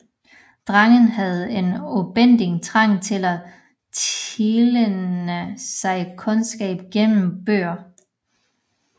Drengen havde en ubændig trang til at tilegne sig kundskab gennem bøger